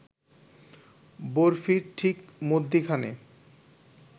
বরফির ঠিক মধ্যিখানে